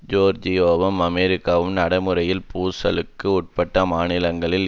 ஜோர்ஜியாவும் அமெரிக்காவும் நடைமுறையில் பூசலுக்கு உட்பட்ட மாநிலங்களின்